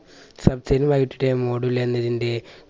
module എന്നതിന്റെ